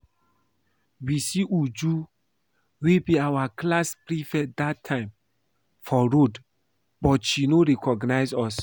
We see Uju wey be our class prefect dat time for road but she no recognize us